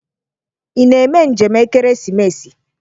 Ị na-eme njem ekeresimesi?